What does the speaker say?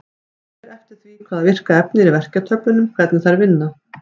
Það fer eftir því hvaða virka efni er í verkjatöflunum hvernig þær vinna.